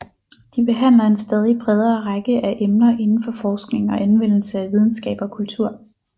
De behandler en stadig bredere række af emner inden for forskning og anvendelse af videnskab og kultur